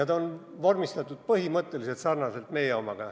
Ta on vormistatud meie omaga põhimõtteliselt sarnaselt.